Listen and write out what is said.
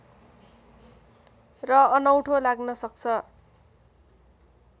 र अनौठो लाग्न सक्छ